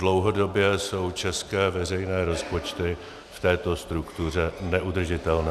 Dlouhodobě jsou české veřejné rozpočty v této struktuře neudržitelné.